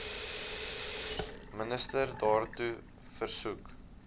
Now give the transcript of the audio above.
minister daartoe versoek